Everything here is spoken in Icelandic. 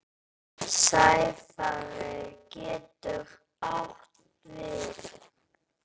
Sæfari getur átt við